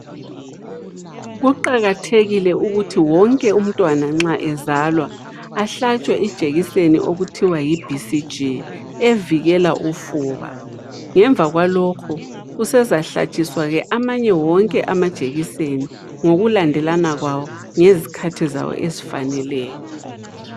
Kuqakathekile ukuthi wonke umntwana nxa ezalwa ahlatshwe ijekiseni okuthiwa yi-BCG evikela ufuba. Ngemva kwalokho usezahlatshiswa amanye wonke amajekiseni ngokulandelana kwawo ngezikhathi zawo ezifaneleyo.